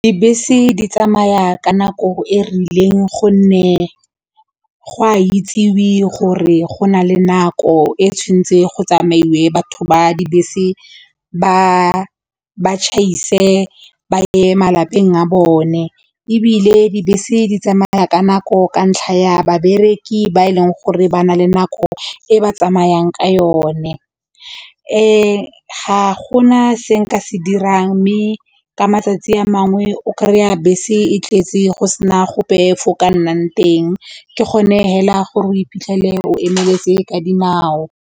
Dibese di tsamaya ka nako e rileng gonne go a itsewe gore go nale nako e tshwanetse go tsamaiwe batho ba dibese ba ba ba ye malapeng a bone ebile dibese di tsamaya ka nako ka ntlha ya babereki ba e leng gore ba na le nako e ba tsamayang ka yone ga go na se nka se dirang mme ka matsatsi a mangwe o kry-a bese e tletse go sena gope fo o ka nnang teng ke gone hela gore o iphitlhele o emeletse ka dinao.